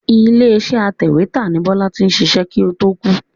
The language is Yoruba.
Ilé iṣẹ́ atẹ̀wétà ni Bọ́lá ti ṣiṣẹ́ kó to kú.